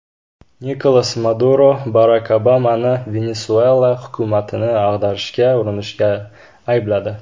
Nikolas Maduro Barak Obamani Venesuela hukumatini ag‘darishga urinishda aybladi.